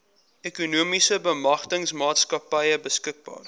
ekonomiese bemagtigingsmaatskappy beskikbaar